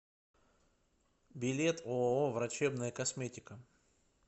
билет ооо врачебная косметика